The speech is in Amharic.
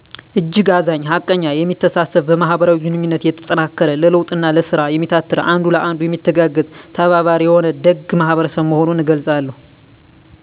እጅግ አዛኝ ሀቀኛ የሚተሳሰብ በማህበራዊ ግኑኝነት የተጠናከረ ለለዉጥ እና ለስራ የሚታትር አንዱ ለአንዱ የሚተጋገዝ/ተባባሪ የሆነ ደግ ማህበረሰብ መሆኑን እገልፃለሁ